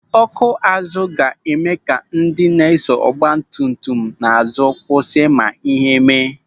Ọ́kụ́ azụ ga-eme ka ndị na-eso ọgbatumtum n'azụ kwụsị ma ihe mee.